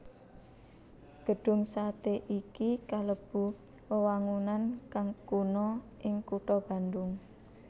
Gedhung satè iki kalebu wewangunan kang kuna ing kutha Bandung